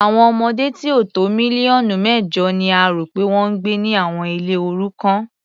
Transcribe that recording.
Àwọn ọmọdé tí ó tó mílíọ̀nù mẹ́jọ ni a rò pé wọ́n ń gbé ni àwọn ilé òrukàn.